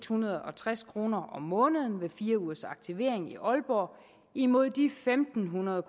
hundrede og tres kroner om måneden ved fire ugers aktivering i aalborg imod de fem hundrede